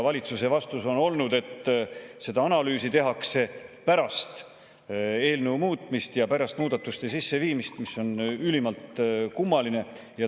Valitsuse vastus on olnud, et seda analüüsi tehakse pärast eelnõu muutmist ja pärast muudatuste sisseviimist, mis on ülimalt kummaline.